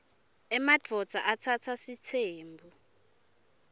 emadvodza atsatsa sitsembu